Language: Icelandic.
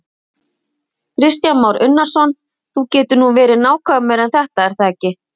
Kristján Már Unnarsson: Þú getur nú verið nákvæmari en þetta er það ekki?